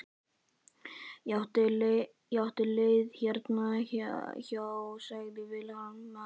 Ég átti leið hérna hjá- sagði Valdimar.